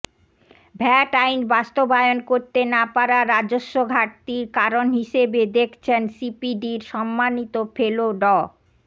VAT আইন বাস্তবায়ন করতে না পারা রাজস্ব ঘাটতির কারণ হিসেবে দেখছেন সিপিডির সম্মানিত ফেলো ড